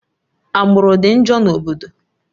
Agbụrụ dị njọ na obodo